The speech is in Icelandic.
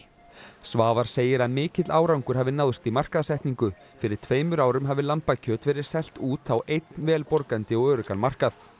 Svavar segir að mikill árangur hafi náðst í markaðssetningu fyrir tveimur árum hafi lambakjöt verið selt út á einn vel borgandi og öruggan markað